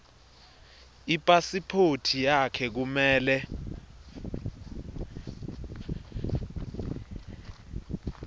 ipasiphothi yakho kumele